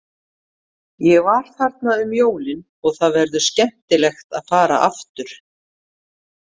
Ég var þarna um jólin og það verður skemmtilegt að fara aftur.